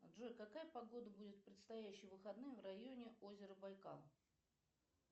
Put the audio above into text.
джой какая погода будет в предстоящие выходные в районе озера байкал